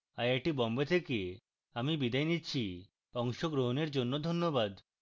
I I T Bombay থেকে আমি বিদায় নিচ্ছি অংশগ্রহনের জন্যে ধন্যবাদ